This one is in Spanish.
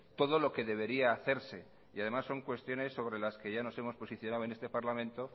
todo lo que debería hacerse y además son cuestiones sobre las que ya nos hemos posicionado en este parlamento